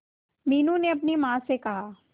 मीनू ने अपनी मां को कहा